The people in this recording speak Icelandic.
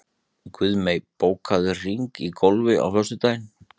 Guðmey, bókaðu hring í golf á föstudaginn.